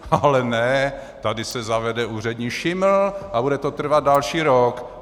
Ale ne, tady se zavede úřední šiml a bude to trvat další rok.